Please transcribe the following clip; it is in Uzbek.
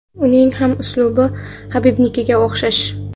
Uning ham uslubi Habibnikiga o‘xshash.